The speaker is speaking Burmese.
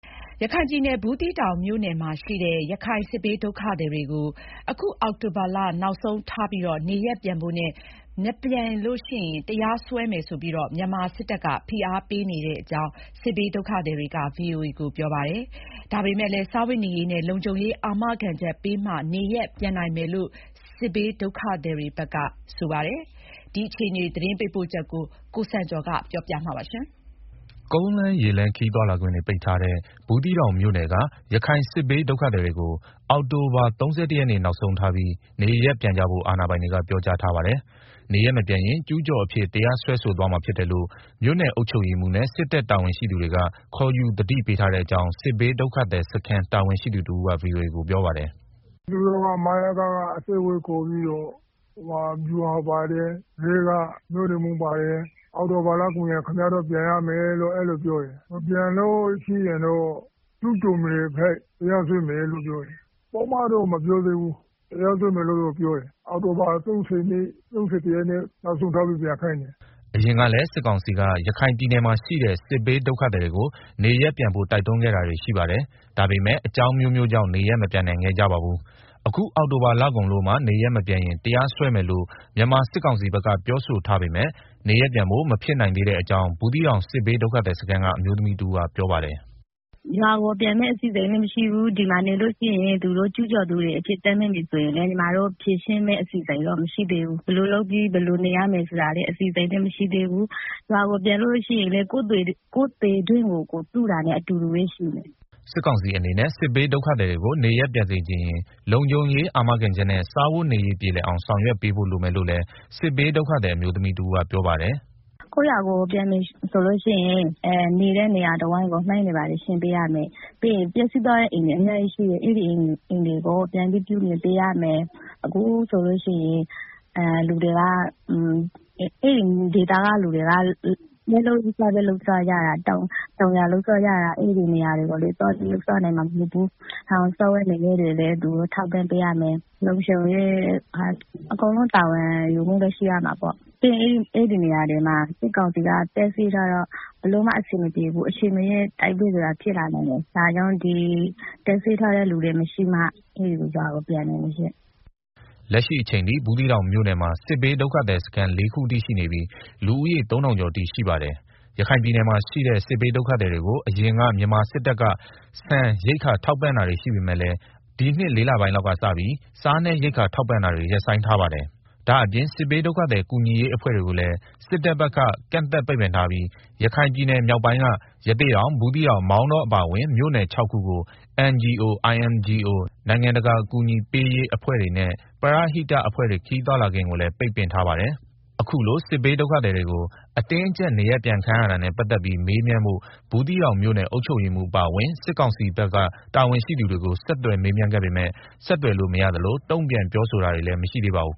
ရခိုင်ပြည်နယ် ဘူးသီးတောင်မြို့နယ်မှာရှိတဲ့ ရခိုင်စစ်ဘေးဒုက္ခသည်တွေကို အခု အောက်တိုဘာလ နောက်ဆုံးထားပြီးနေရပ်ပြန်ဖို့နဲ့ မပြန်ရင်တရားစွဲမယ်ဆိုပြီး မြန်မာစစ်တပ်ဘက်က ဖိအားပေးနေကြောင်း စစ်ဘေးဒုက္ခသည်တွေက ပြောကြပါတယ်။ ဒါပေမယ့်လည်း စားဝတ်နေရေးနဲ့ လုံခြုံရေးအာမခံချက်ပေးမှ နေရပ်ပြန်နိုင်မယ်လို့ စစ်ဘေးဒုက္ခသည်တွေဘက်က ပြောကြပါတယ်။ ဘူးသီးတောင်မြို့နယ်အတွင်းက ဒုက္ခသည်အခြေအနေ သတင်းပေးပို့ချက်ကို ကိုစံကျော်က တင်ပြပေးထားပါတယ်။ ကုန်းလမ်းရေလမ်းခရီးသွားလာခွင့်ပိတ်ထားတဲ့ ဘူးသီးတောင်မြို့နယ်က ရခိုင်စစ်ဘေး ဒုက္ခသည်တွေကို အောက်တိုဘာ ၃၁ နေ့နောက်ဆုံးထားပြီး နေရပ်ပြန်ကြဖို့ အာဏာပိုင်တွေက ပြောထားပါတယ်။ နေရပ်မပြန်ရင် ကျူးကျော်အဖြစ် တရားစွဲဆိုသွားမှာဖြစ်တယ်လို့ မြို့နယ်အုပ်ချုပ်ရေးမှူးနဲ့ စစ်တပ်တာဝန်ရှိသူတွေက ခေါ်ယူ သတိပေးထားတဲ့အကြောင်း စစ်ဘေးဒုက္ခသည်စခန်းတာဝန်ရှိသူတဦးက VOA ကို ပြောပါတယ်။ “ သူတို့က မယက က အစည်းအဝေးခေါ်ပြီးတော့ ဗျူဟာမှူးပါတယ်။ ရဲက မြို့နယ်မှူးပါတယ်။ အောက်တိုဘာလကုန်ရင် ခင်ဗျား ပြန်ရမယ်တဲ့။ အဲလိုပြောတယ်။ မပြန်လို့ရှိရင်တော့ ကျူးကျော်မြေအဖြစ် တရားစွဲမယ်လို့ပြောတယ်။ ပုဒ်မတော့မပြောဘူး။ တရားစွဲမယ်လို့သာ ပြောတာ။ အောက်တိုဘာ ၃၁ ရက်နေ့ နောက်ဆုံးထားပြီးပြန်ခိုင်းတယ်။” အရင်ကလည်း စစ်ကောင်စီက ရခိုင်ပြည်နယ်မှာရှိတဲ့ စစ်ဘေးဒုက္ခသည်တွေကို နေရပ်ပြန်ဖို့ တိုက်တွန်းခဲ့တာတွေရှိပါတယ်။ ဒါပေမယ့် အကြောင်းအမျိုးမျိုး ကြောင့် နေရပ်မပြန်နိုင်ခဲ့ကြပါဘူး။ အခု အောက်တိုဘာလကုန်လို့မှ နေရပ်မပြန်ရင် တရားစွဲမယ်လို့ မြန်မာစစ်ကောင်စီဘက်က ပြောထားပေမယ့် နေရပ်ပြန်ဖို့ မဖြစ်နိုင်သေးတဲ့အကြောင်း ဘူးသီးတောင်စစ်ဘေးဒုက္ခသည်စခန်းက အမျိုးသမီးတဦး ကပြောပါတယ်။ “ ရွာကိုပြန်မယ့် အစီအစဉ်လည်းမရှိသေးဘူး။ ဒီမှာနေလို့ရှိရင်လည်း သူတို့က ကျူးကျော်သူတွေဆိုပြီး တရားစွဲရင်လည်း ဖြေရှင်းမယ့်အစီအစဉ်လည်း မရှိသေးဘူး၊ ဘယ်လိုလုပ်ရမလဲ၊ ဘယ်လိုနေရမလဲဆိုတာလည်း မရှိသေးဘူး။ ရွာကိုပြန်လို့ရှိရင်လည်း ကိုယ့်သေတွင်းကို ကိုယ်တူးတာနဲ့ အတူတူပဲရှိတယ်။” စစ်ကောင်စီအနေနဲ့ စစ်ဘေးဒုက္ခသည်တွေကို နေရပ်ပြန်စေချင်ရင် လုံခြုံရေးအာမခံချက်နဲ့ စားဝတ်နေရေးပြေလည်အောင် ဆောင်ရွက်ပေးဖို့ လိုမယ်လို့လည်း စစ်ဘေးဒုက္ခသည် အမျိုးသမီး တဦးကပြောပါတယ်။ “ ရွာကိုပြန်မယ်ဆိုရင် နေတဲ့နေရာတဝိုက်ကို မိုင်းရှင်းပေးရမယ်။ ပြီးတော့ ပျက်စီးသွားတဲ့အိမ်တွေကို ပြန်ဆောက်ပေးရမယ်၊ ပြီးတော့ အဲဒီဒေသက လူတွေက တောင်ယာ လုပ်စားကြတာ။ အဲဒီနေရာကိုလည်း သွားနိုင်မှာမဟုတ်ဘူးဆိုတော့ စားဝတ်နေရေး ထောက်ပံ့ပေးရမယ်။ လုံခြုံရေးအကုန်လုံး တာဝန်ယူပေးရမယ်။ အဲဒီနေရာတွေမှာ စစ်ကောင်စီက တပ်စွဲထားတော့ ဘယ်လိုမှအဆင်မပြေဘူး။ အချန်မရွေး တိုက်ပွဲဖြစ်လာနိုင်တယ်။ တပ်စွဲထားတဲ့လူတွေမရှိမှ ရွာကိုပြန်နိုင်မယ်ရှင့်။” လက်ရှိအချိန်ထိ ဘူးသီးတောင်မြို့နယ်မှာ စစ်ဘေးဒုက္ခသည်စခန်း လေးခုအထိရှိနေပြီး လူဦးရေ ၃,၀၀၀ ကျော်အထိရှိပါတယ်၊ ရခိုင်ပြည်နယ်မှာ ရှိတဲ့ စစ်ဘေးဒုက္ခသည်တွေကိုအရင်က မြန်မာစစ်တပ်က ဆန်ရိက္ခာ ထောက်ပံ့တာတွေရှိပေမယ့်လည်း ဒီနှစ် ၄ လပိုင်းလောက်ကစပြီး စားနပ်ရိက္ခာထောက်ပံ့တာတွေ ရပ်ဆိုင်းထားပါတယ်။ ဒါ့အပြင် စစ်ဘေးဒုက္ခသည်ကူညီရေးအဖွဲ့တွေကိုလည်း စစ်တပ်ဘက်က ကန့်သတ် ပိတ်ပင်ထားပြီး ရခိုင်ပြည်နယ်မြောက်ပိုင်းက ရသေ့တောင်၊ ဘူးသီးတောင်၊ မောင်တောအပါအဝင် မြို့နယ် ၆ ခုကို NGO၊ INGO နိုင်ငံတကာ အကူအညီပေးရေး အဖွဲ့တွေနဲ့ ပရဟိတတအဖွဲ့တွေ ခရီးသွားလာခွင့်ကိုလည်း ပိတ်ပင်ထားပါတယ်။ အခုလို စစ်ဘေးဒုက္ခသည်တွေကို အတင်းအကြပ်နေရပြန်ခိုင်းရတာနဲ့ ပတ်သက်ပြီးမေးမြန်းဖို့ ဘူးသီးတောင်မြို့နယ်အုပ်ချုပ်ရေးမှူးအပါအဝင် စစ်ကောင်စီဘက်က တာဝန်ရှိသူတွေကို ဆက်သွယ်မေးမြန်းခဲ့ပေမယ့် ဆက်သွယ်လို့မရသလို တုံ့ပြန်ပြောဆိုတာ မရှိသေးပါဘူး